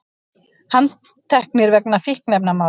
Handteknir vegna fíkniefnamála